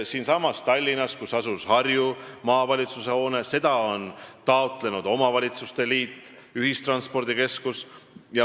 Siinsamas Tallinnas on seda hoonet, kus asus Harju Maavalitsus, taotlenud omavalitsuste liit, täpsemalt ühistranspordikeskus.